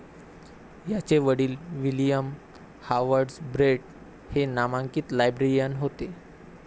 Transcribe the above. याचे वडील William Harvard Brett हे नामांकित लाइब्रेरियन होते.